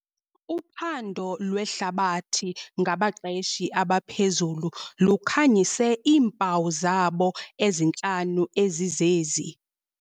Uphando lwehlabathi ngabaqeshi abaphezulu lukhanyise iimpawu zabo ezintlanu ezizezi.